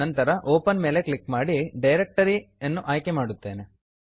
ನಂತರ open open ಮೇಲೆ click ಮಾಡಿ ಡೈರೆಕ್ಟರಿ ಡೈರೆಕ್ಟರಿ ಯನ್ನು ಆಯ್ಕೆ ಮಾಡುತ್ತೇನೆ